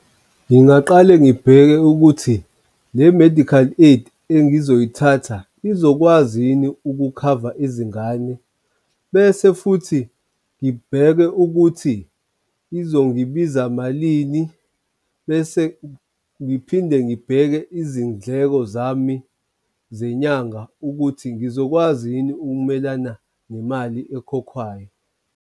Ngingaqale ngibheke ukuthi le-medical aid engizoyithatha izokwazi yini ukukhava izingane bese futhi ngibheke ukuthi izongibiza malini bese ngiphinde ngibheke izindleko zami zenyanga ukuthi ngizokwazi yini ukumelana nemali ekhokhwayo.